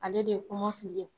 Ale de ye kɔmɔkili ye